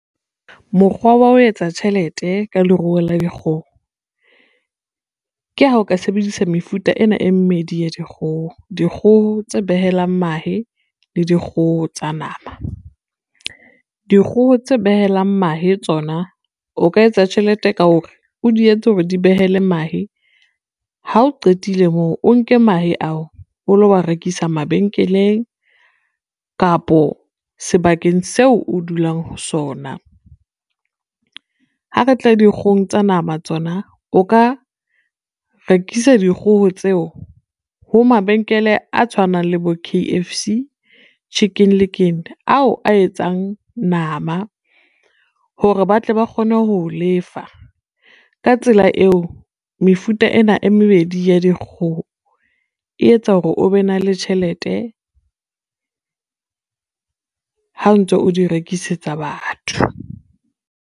Mokgwa wa ho etsa tjhelete ka leruo la dikgoho, ke ha o ka sebedisa mefuta ena e mmedi ya dikgoho, dikgoho tse behelang mahe le dikgoho tsa nama. Dikgoho tse behelang mahe tsona o ka etsa tjhelete ka hore o di etse hore di behele mahe, ha o qetile moo o nke mahe ao o lo wa rekisa mabenkeleng kapo sebakeng seo o dulang ho sona. Ha re tla dikgohong tsa nama tsona, o ka rekisa dikgoho tseo ho mabenkele a tshwanang le bo K_F_C, Chicken Licken ao a etsang nama, hore ba tle ba kgone ho i lefa. Ka tsela eo, mefuta ena e mebedi ya dikgoho e etsa hore o be na le tjhelete, ha o ntso o di rekisetsa batho.